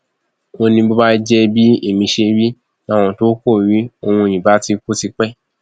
ó ní bó bá jẹ bí ẹmí ṣe rí làwọn tó kù rí òun ìbá ti kú tipẹ